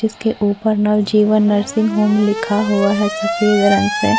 उसके ऊपर Navjivan nursing home लिखा हुआ है सफेद रंग से --